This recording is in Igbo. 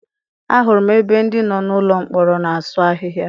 A hụrụ m ebe ndị nọ n'ụlọ mkpọrọ na-asụ ahịhịa.